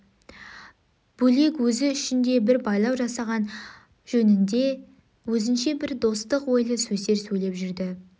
бөлек өзі үшін де бір байлау жасаған жөнінде өзінше бір достық ойлы сөздер сөйлеп жүрді